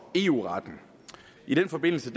eu retten i den forbindelse